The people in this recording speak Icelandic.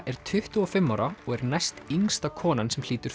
er tuttugu og fimm ára og er næstyngsta konan sem hlýtur